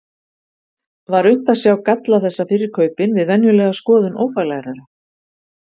Var unnt að sjá galla þessa fyrir kaupin við venjulega skoðun ófaglærðra?